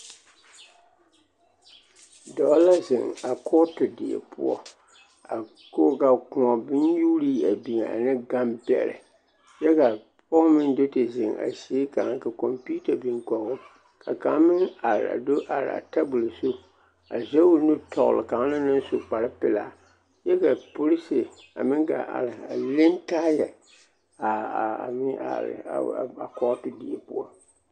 Dɔɔ la zeŋ a kɔɔte die poɔ a ka kõɔ bonnyuurii biŋ ane gambɛrɛ kyɛ ka pɔge meŋ do te zeŋ a zie kaŋ ka kɔmpiita biŋ kɔgoo ka kaŋ meŋ are a do are a tabol zu a zɛge nu tɔgele kaŋ naŋ su kpare pelaa kyɛ ka porisi a meŋ gaa are ne taayɛ a kɔɔte die poɔ.